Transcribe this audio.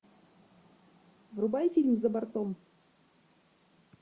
врубай фильм за бортом